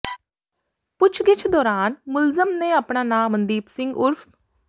ਪੁਛਗਿੱਛ ਦੌਰਾਨ ਮੁਲਜ਼ਮ ਨੇ ਆਪਣਾ ਨਾਂ ਸੰਦੀਪ ਸਿੰਘ ਉਰਫ